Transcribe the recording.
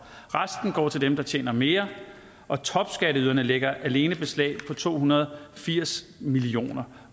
resten går til dem der tjener mere og topskatteyderne lægger alene beslag på to hundrede og firs million